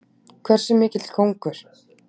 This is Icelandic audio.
Hversu mikill kóngur!